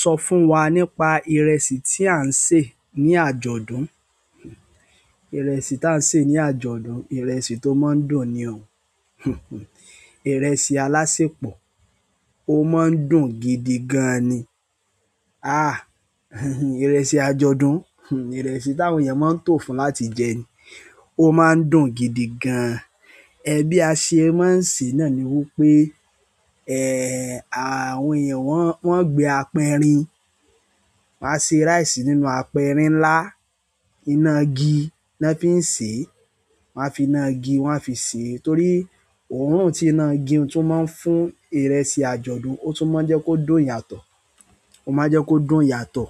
Sọ fún wa nípa ìrẹsì tí à ń sè ní àjọ̀dún. Ìrẹsì tá ń sè ní àjọ̀dún, ìrẹsì tó máa ń dùn ni ọ̀ún. Ìrẹsì alásẹpọ̀, ó máa ń dùn gidi gan ni. Àh, ìrẹsì àjọ̀dún, ìrẹsì táwọn èèyàn máa ń tò fún láti jẹ ni. Ó máa ń dùn gidi gan. Ẹbí a ṣe, máa ń sè náà ni wípé, ẹ́ẹ́, àwọn èèyàn wọn, wọn gbé apẹrin. Waá ṣe rice nínú apẹrin ńlá. Iná igi ni wọ́n fi ń sèé. Wọn á fi iná igi wọn á fi sèé torí òórùn tí iná igi tún máa ń fún ìrẹsì àjọ̀dún, ó tún máa ń jẹ́ kó dùn yàtọ̀. Ó máa ń jẹ́ kó dùn yàtọ̀.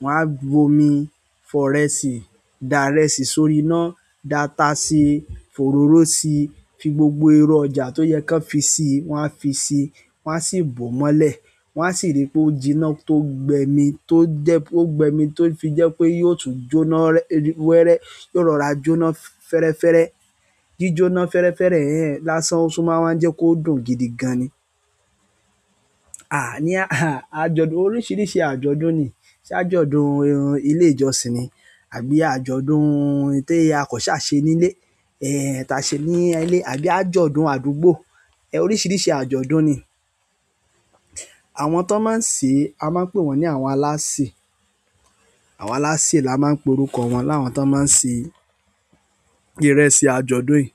Wọn á gbomi, fọ ìrẹsì, da ìrẹsì sórí iná, data si, fòróró si, fi gbogbo èrò ọjà tó yẹ kó fi si, wọ́n á fi si, wón á sì bò ó mọ́lẹ̀. Won asi ri pe ojina to gbe mi to je to gbe mi to fi je pe yi o tun jo náà were yi o rora jo náà ferefere. Jíjóná fẹ́rẹ́fẹ́rẹ́ yẹn lásán ó tún máa ń jẹ́ kó dùn gidi gan ni. Àní àh, àjọ̀dún oríṣiríṣi àjọ̀dún ni. Ṣé àjọ̀dún irun ilé ìjọsìn ni? Àbí àjọ̀dún ti ako sa se ni ile ehn tase ni ile àbí àjọ̀dún àdúgbò. Ẹ oríṣiríṣi àjọ̀dún ni. Àwọn tò máa ń sè, a máa ń pè wọ́n ní àwọn alásè. Àwọn alásè la máa ń pe orúkọ wọn. Láwọn tó máa ń se ìrẹsì àjọ̀dún yi,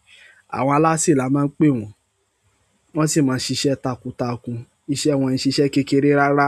àwọn alásè la máa ń pè wọn. Wọ́n sì máa ń ṣiṣẹ́ takuntakun. Iṣẹ́ wọn n ṣiṣẹ́ kékeré rárá.